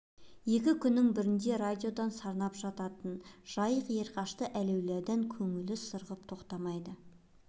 екі күннің бірінде радио сарнап жататын жайдақ ерқашты әләулайдан көңілі сырғып тоқтамайды